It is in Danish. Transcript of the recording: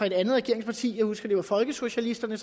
et andet regeringsparti jeg husker at det var folkesocialisterne